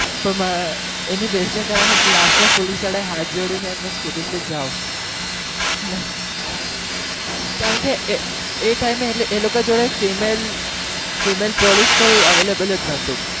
તો એની બહેસ ના કારણે last માં police વાળાએ હાથ જોડી ને એમ જ કીધું કે જાઓ કારણ કે એ time એ લોકો જોડે female female police કોઈ available જ નહતું.